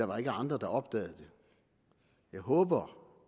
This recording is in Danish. var andre der opdagede det jeg håber